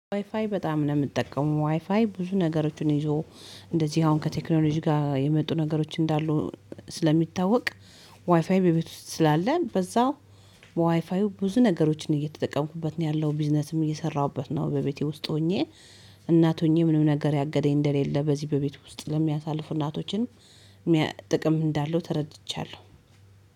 ዋይፋይ በጣም ነው የምጠቀመው ዋይፋይ ብዙ ነገሮችን ይዞ እንደዚህ አሁን ከቴክኖሎጂ ጋር የመጡ ነገሮች እንዳሉ ስለሚታወቅ። ዋይፋይ በቤት ውስጥ ስላለን በዛ በዋይፋዩ ብዙ ነገሮችን እየተጠቀምኩበት ነው ያለው ቢዝነስም እየሰራሁበት ነው በቤቴ ውስጥ ሆኜ። እናት ሆኜ ምንም ነገር ያገደኝ እንደሌለ በዚህ በቤት ውስጥ ለሚያሳልፉ እናቶችን ጥቅም እንዳለው ተረድቻለሁ